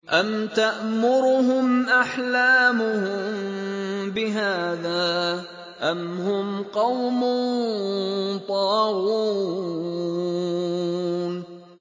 أَمْ تَأْمُرُهُمْ أَحْلَامُهُم بِهَٰذَا ۚ أَمْ هُمْ قَوْمٌ طَاغُونَ